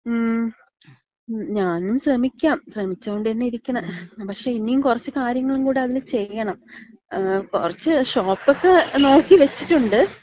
മ്മ്. ഞാനും ശ്രമിക്കാം. ശ്രമിച്ചുകൊണ്ടന്നെ ഇരിക്കണ. പക്ഷേ ഇനിയും കൊറച്ച് കാര്യങ്ങള് കൂട അതില് ചെയ്യണം. മ്മ് കൊറച്ച് ഷോപ്പക്കെ നോക്കി വച്ചിട്ടൊണ്ട്.